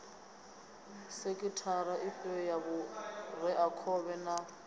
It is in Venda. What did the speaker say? sekhithara ifhio ya vhureakhovhe na